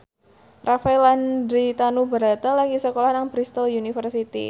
Rafael Landry Tanubrata lagi sekolah nang Bristol university